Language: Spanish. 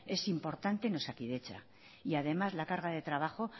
es importante en osakidetza y además la carga de trabajo